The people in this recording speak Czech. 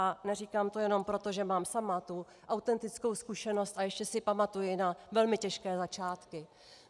A neříkám to jenom proto, že mám sama tu autentickou zkušenost a ještě si pamatuji na velmi těžké začátky.